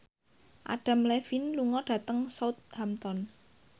Adam Levine lunga dhateng Southampton